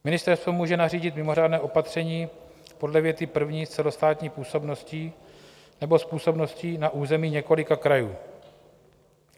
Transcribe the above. Ministerstvo může nařídit mimořádné opatření podle věty první s celostátní působností nebo s působností na území několika krajů.